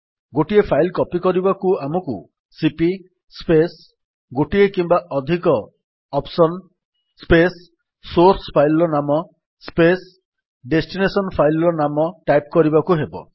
ଗୋଟିଏ file copy କରିବାକୁ ଆମକୁ ସିପି ସ୍ପେସ୍ ଗୋଟିଏ କିମ୍ବା ଅଧିକ OPTION ସ୍ପେସ୍ ସୋର୍ସ୍ ଫାଇଲ୍ ର ନାମ ସ୍ପେସ୍ ଡେଷ୍ଟିନେସନ୍ ଫାଇଲ୍ ର ନାମ DESTଟାଇପ୍ କରିବାକୁ ହେବ